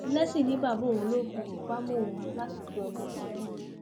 blessing ni bàbá òun ló fi tipa mú òun láti fẹ ọmọkùnrin náà